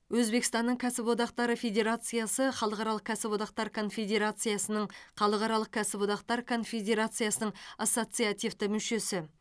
өзбекстанның кәсіподақтары федерациясы халықаралық кәсіподақтар конфедерациясының халықаралық кәсіподақтар конфедерациясының ассоциацивті мүшесі